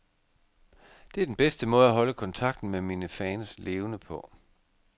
Det er den bedste måde at holde kontakten med mine fans levende på.